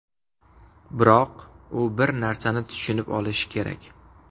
Biroq u bir narsani tushunib olishi kerak.